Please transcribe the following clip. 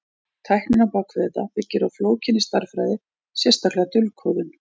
Tæknin á bak við þetta byggir á flókinni stærðfræði, sérstaklega dulkóðun.